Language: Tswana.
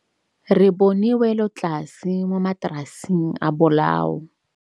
Re bone wêlôtlasê mo mataraseng a bolaô.